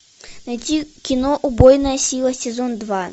найти кино убойная сила сезон два